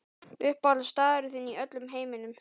Uppáhalds staðurinn þinn í öllum heiminum?